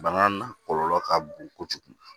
Bana kɔlɔlɔ ka bon kojugu